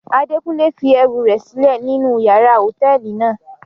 Adekunle fi ẹru rẹ silẹ ninu yàrá hotẹẹli náa